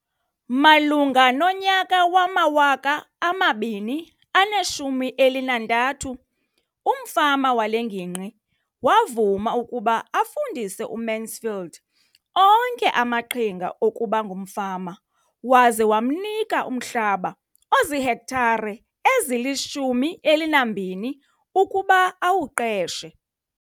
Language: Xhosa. Malunga nonyaka wama-2013, umfama wale ngingqi wavuma ukuba afundise uMansfield onke amaqhinga okuba ngumfama waza wamnika umhlaba ozihektare ezili-12 ukuba awuqeshe.